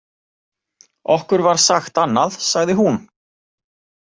Okkur var sagt annað, sagði hún.